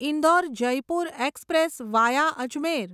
Indore Jaipur express via Ajmer